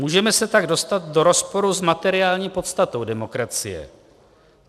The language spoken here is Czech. Můžeme se tak dostat do rozporu s materiální podstatou demokracie.